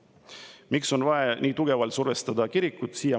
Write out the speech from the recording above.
Aga miks on vaja nii tugevalt survestada kirikut?